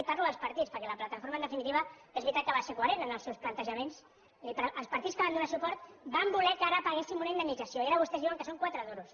parlo dels partits perquè la plataforma en definitiva és veritat que va ser coherent en els seus plantejaments els partits que van donar suport van voler que ara paguéssim una indemnització i ara vostès diuen que són quatre duros